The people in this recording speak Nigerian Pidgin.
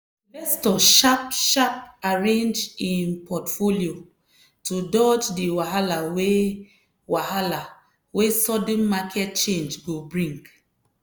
di investor sharp-sharp arrange im portfolio to dodge di wahala wey wahala wey sudden market change go bring.